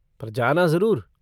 पर जाना जरुर।